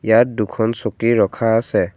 ইয়াত দুখন চকী ৰখা আছে।